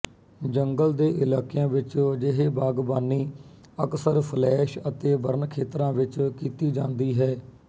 ਜੰਗਲ ਦੇ ਇਲਾਕਿਆਂ ਵਿੱਚ ਅਜਿਹੇ ਬਾਗਬਾਨੀ ਅਕਸਰ ਸਲੈਸ਼ ਅਤੇ ਬਰਨ ਖੇਤਰਾਂ ਵਿੱਚ ਕੀਤੀ ਜਾਂਦੀ ਹੈ